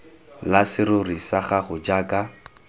la serori sa gago jaaka